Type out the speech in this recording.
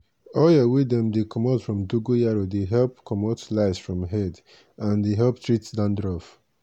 oil wey dem dey get from dongoyaro dey comot lice for head and dey help treat dandruff.